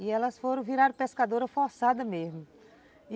E elas foram virar pescadoras forçadas mesmo.